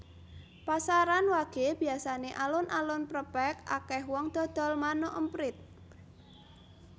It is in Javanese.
Pasaran wage biasane alun alun prepek akeh wong dodol manuk emprit